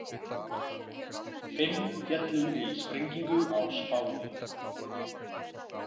Fimm féllu í sprengingu á Spáni